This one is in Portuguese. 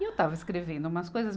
E eu estava escrevendo umas coisas.